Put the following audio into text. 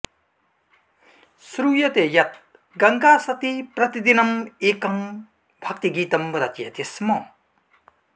श्रुयते यत् गङ्गासती प्रतिदिनम् एकं भक्तिगीतं रचयति स्म